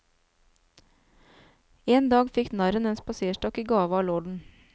En dag fikk narren en spaserstokk i gave av lorden.